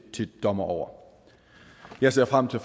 dommer over jeg ser frem til